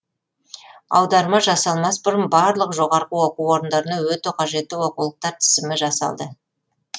аударма жасалмас бұрын барлық жоғарғы оқу орындарына өте қажетті оқулықтар тізімі жасалды